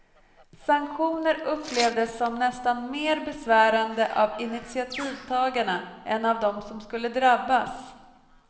Sanktioner upplevdes som nästan mer besvärande av initiativtagarna än av dem som skulle drabbas.